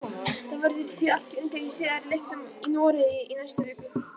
Það verður því allt undir í síðari leiknum í Noregi í næstu viku.